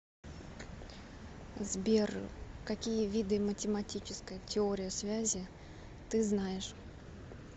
сбер какие виды математическая теория связи ты знаешь